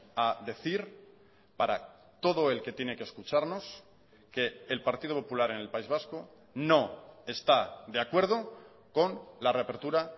a decir para todo el que tiene que escucharnos que el partido popular en el país vasco no está de acuerdo con la reapertura